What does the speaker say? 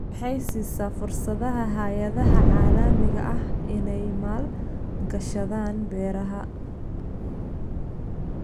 Waxay siisaa fursadaha hay'adaha caalamiga ah inay maal-gashadaan beeraha.